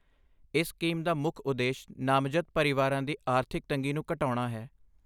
ਇਸ ਸਕੀਮ ਦਾ ਮੁੱਖ ਉਦੇਸ਼ ਨਾਮਜ਼ਦ ਪਰਿਵਾਰਾਂ ਦੀ ਆਰਥਿਕ ਤੰਗੀ ਨੂੰ ਘਟਾਉਣਾ ਹੈ।